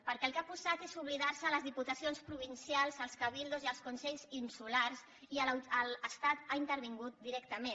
perquè el que ha posat és oblidar se les diputacions provincials els cabildos i els consells insulars i l’estat hi ha intervingut directament